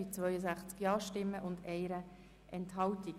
Es handelt sich um den Themenblock 3.e Projekte.